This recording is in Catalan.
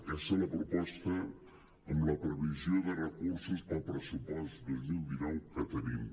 aquesta és la proposta amb la previsió de recursos per al pressupost dos mil dinou que te·nim